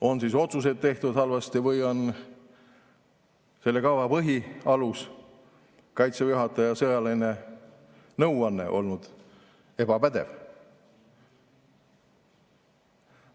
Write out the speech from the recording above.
On siis otsuseid tehtud halvasti või on selle kava põhialus, Kaitseväe juhataja sõjaline nõu olnud ebapädev?